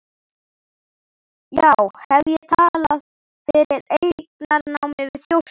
Já, hef ég talað fyrir eignarnámi við Þjórsá?